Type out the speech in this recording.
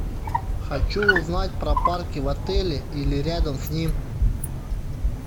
хочу узнать про парки в отеле или рядом с ним